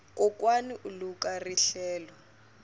kokwani u luka rihlelo